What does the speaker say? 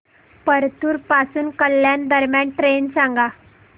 परतूर पासून कल्याण दरम्यान ट्रेन सांगा